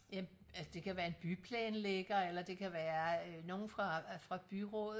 øh altså det kan være en byplanlægger eller det kan være øh nogen fra byrådet